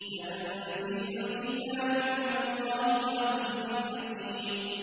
تَنزِيلُ الْكِتَابِ مِنَ اللَّهِ الْعَزِيزِ الْحَكِيمِ